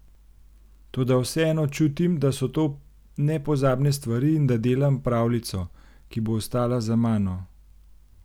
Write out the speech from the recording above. Toda vseeno čutim, da so to nepozabne stvari in da delam pravljico, ki bo ostala za mano.